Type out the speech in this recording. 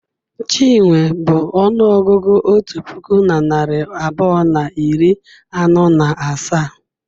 Chinwe bụ ọnụọgụgụ otu puku na narị abụọ na iri anọ na asaa.